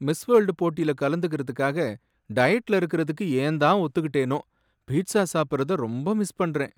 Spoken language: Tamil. மிஸ் வேல்டு போட்டில கலந்துக்கறதுக்காக டயட்ல இருக்கறதுக்கு ஏன் தான் ஒத்துக்கிட்டேனோ. பீட்ஸா சாப்பிறத ரொம்ப மிஸ் பண்றேன்.